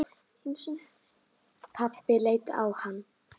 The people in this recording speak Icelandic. Pabbi leit á hann.